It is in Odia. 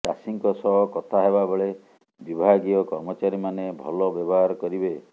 ଚାଷୀଙ୍କ ସହ କଥା ହେବା ବେଳେ ବିଭାଗୀୟ କର୍ମଚାରୀମାନେ ଭଲ ବ୍ୟବହାର କରିବେ